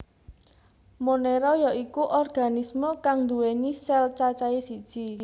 Monera ya iku organisme kang nduwèni sel cacahe siji